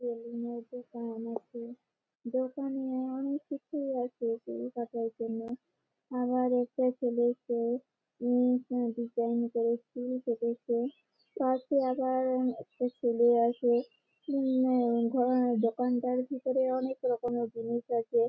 Salon -এর দোকান আছে দোকানে-এ অনেক কিছুই আছে চুল কাটার জন্যে আবার একটা ছেলেকে হুম ডিসাইন করে চুল কেটেছে পাশে আবার একটা ছেলে আছে হুম ঘরেনা দোকান টার ভিতরে অনেক রকমের জিনিস আছে।